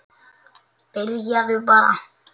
Byrjaðu bara.